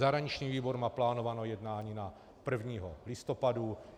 Zahraniční výbor má plánované jednání na 1. listopadu.